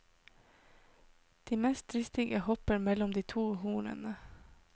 De mest dristige hopper mellom de to hornene.